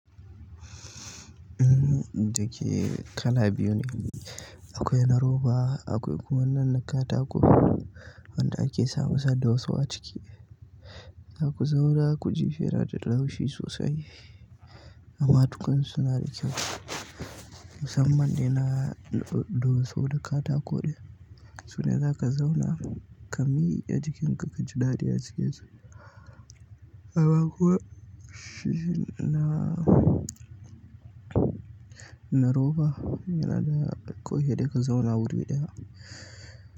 Uhm, da ke kala biyu ne. Akwai na roba akwai kuma nan na katako wanda ake samunsa da soso a ciki. Za ku zauna, ku ji shi yana da laushi sosai amma dukansu suna da kyau musamman da na doso da katako. Sune za ka zauna kamike jikinka kaji daɗi a cikin sa habakuwa na na roba yana da sai dai ka zauna wuri ɗaya.